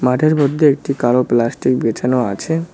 মাঠের মধ্যে একটি কালো প্লাস্টিক বেছানো আছে।